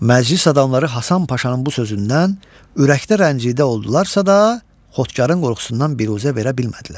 Məclis adamları Həsən Paşanın bu sözündən ürəkdə rəncidə oldularsa da, Xodkarın qorxusundan biruzə verə bilmədilər.